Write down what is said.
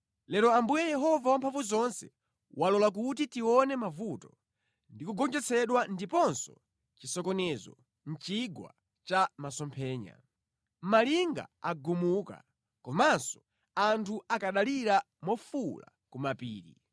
Lero Ambuye Yehova Wamphamvuzonse walola kuti tione mavuto ndi kugonjetsedwa ndiponso chisokonezo mʼChigwa cha Masomphenya. Malinga agumuka, komanso anthu akanalira mofuwula ku mapiri.